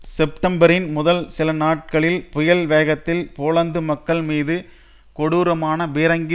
செப்டம்பரின் முதல் சில நாட்களில் புயல் வேகத்தில் போலந்து மக்கள் மீது கொடூரமான பீரங்கி